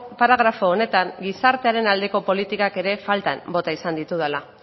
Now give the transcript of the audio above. paragrafo honetan gizartearen aldeko politikak ere faltan bota izan ditudala